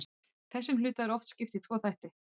þessum hluta er oft skipt í tvo þætti